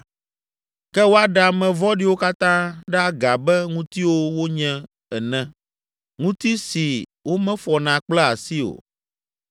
Ke woaɖe ame vɔ̃ɖiwo katã ɖe aga abe ŋutiwo wonye ene. Ŋuti si womefɔna kple asi o.